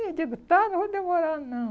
Eu digo, tá, não vou demorar não.